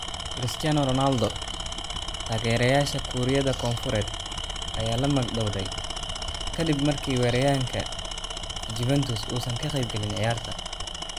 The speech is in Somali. Cristiano Ronaldo: Taageerayaasha Kuuriyada Koonfureed ayaa la magdhawday kaddib markii weeraryahanka Juventus uusan ka qeybgalin ciyaarta.